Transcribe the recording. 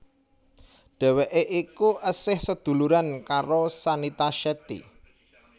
Dheweké iku esih sadhuluran karo Shanita Shetty